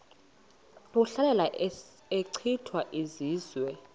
ehlasela echitha izizwe